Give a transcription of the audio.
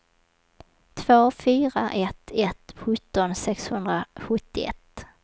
två fyra ett ett sjutton sexhundrasjuttioett